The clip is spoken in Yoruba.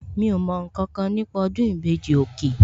Mi ò mọ ǹkankan nípa ọdún ìbejì, òkè